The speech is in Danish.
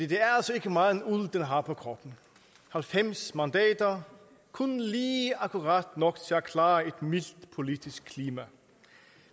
det er altså ikke meget uld den har på kroppen halvfems mandater kun lige akkurat nok til at klare et mildt politisk klima